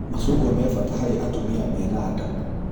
Macungwa me bata harĩ atumia menda nda